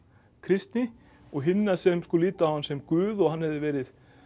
kristni og hinna sem litu á hann sem guð og hann hefði verið